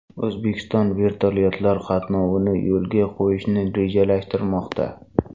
O‘zbekiston vertolyotlar qatnovini yo‘lga qo‘yishni rejalashtirmoqda.